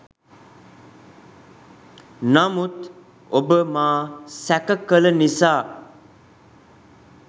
නමුත් ඔබ මා සැක කල නිසා